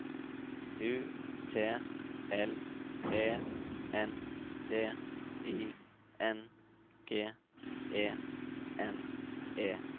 U T L E N D I N G E N E